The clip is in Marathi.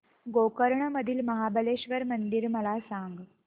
गोकर्ण मधील महाबलेश्वर मंदिर मला सांग